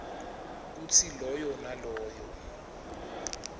kutsi loyo naloyo